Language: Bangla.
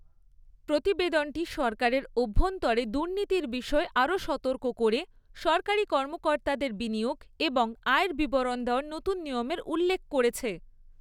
প্রতিবেদনটি সরকারের অভ্যন্তরে দুর্নীতির বিষয়ে আরও সতর্ক করে সরকারি কর্মকর্তাদের বিনিয়োগ এবং আয়ের বিবরণ দেওয়ার নতুন নিয়মের উল্লেখ করেছে।